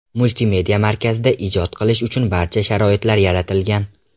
Multimedia markazida ijod qilish uchun barcha sharoitlar yaratilgan.